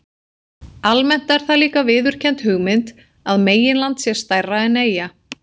Almennt er það líka viðurkennd hugmynd að meginland sé stærra en eyja.